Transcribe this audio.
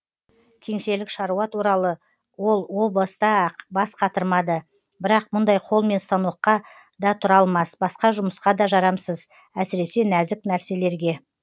кеңселік шаруа туралы ол о баста ақ бас қатырмады бірақ мұндай қолмен станокқа да тұра алмас басқа жұмысқа да жарамсыз әсіресе нәзік нәрселерге